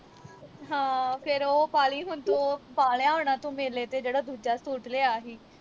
ਹਾਂ ਫਿਰ ਉਹ ਪਾ ਲਈ ਹੁਣ ਤੂੰ ਉਹ ਪਾ ਲਿਆ ਹੋਣਾ ਤੂੰ ਮੇਲੇ ਤੇ ਜਿਹੜਾ ਦੂਜਾ ਸੂਟ ਲਿਆ ਹੀ